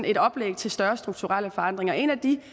et oplæg til større strukturelle forandringer en af de